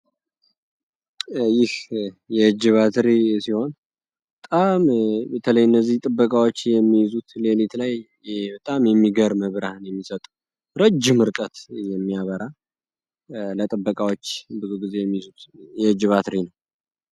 ይህ የእጅ ባትሪ ሲሆን በጣም በተለይ እነዚህ ጥበቃዎች የሚይዙት ሌሊት በጣም የሚገርም ብርሃን የሚሰጥ ረጅም ርቀት የሚያበራ ለጥበቃዎች ብዙ ጊዜ የሚይዙት የእጅ ባትሪ ነው።